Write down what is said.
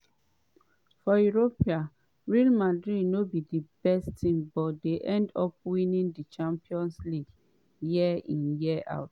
“for europe real madrid no be di best team but end up winning di champions league year in year out.